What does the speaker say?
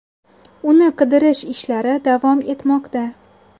Uni qidirish ishlari davom etmoqda.